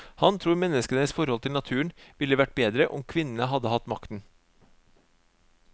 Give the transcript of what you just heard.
Han tror menneskenes forhold til naturen ville vært bedre om kvinnene hadde hatt makten.